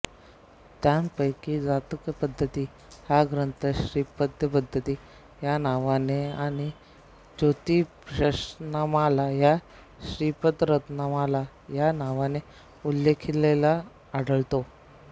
त्यांपैकी जातकपद्धती हा ग्रंथ श्रीपतिपद्धती या नावाने आणि ज्योतिषरत्नमाला हा श्रीपतिरत्नमाला या नावाने उल्लेखिलेला आढळतो